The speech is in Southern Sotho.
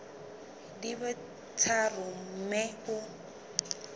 di be tharo mme o